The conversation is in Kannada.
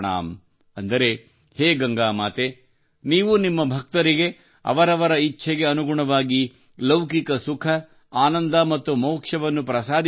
ಅಂದರೆ ಹೇ ಗಂಗಾ ಮಾತೆ ನೀವು ನಿಮ್ಮ ಭಕ್ತರಿಗೆ ಅವರವರ ಇಚ್ಛೆಗೆ ಅನುಗುಣವಾಗಿ ಲೌಕಿಕ ಸುಖ ಆನಂದ ಮತ್ತು ಮೋಕ್ಷವನ್ನು ಪ್ರಸಾದಿಸುತ್ತೀಯೆ